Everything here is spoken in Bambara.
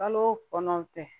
Kalo kɔnɔntɔn tɛ